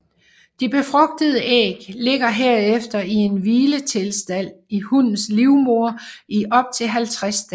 De befrugtede æg ligger herefter i en hviletilstand i hunnens livmoder i op til 50 dage